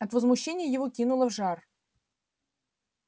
от возмущения его кинуло в жар